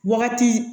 Wagati